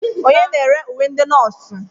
Onye na-ere uwe ndị nọọsụ?